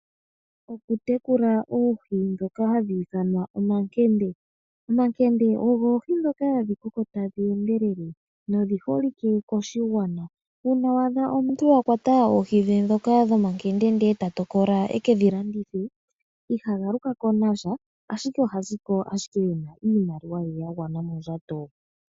Okutekula oohi ndhoka hadhi ithanwa omankende, omankende ogo oohi ndhoka hadhi koko tadhi endelele nodhi holike koshigwana. Uuna wa adha omuntu a kwata oohi dhe ndhoka dhomankende nde eta tokola ekedhi landithe iha galukako nasha ashike oha ziko ashike ena iimaliwa ye yagwana monjato.